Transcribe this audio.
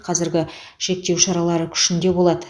қазіргі шектеу шаралары күшінде болады